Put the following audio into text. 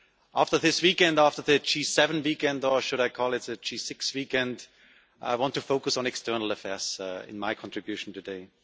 After the G7 weekend or should I call it the G6 weekend I want to focus on External Affairs in my contribution today.